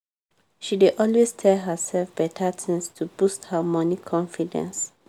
she dey always tell herself better things to boost her money confidence.